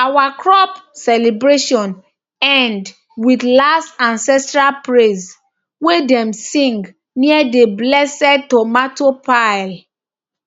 our crop celebration end with last ancestral praise wey dem sing near the blessed tomato pile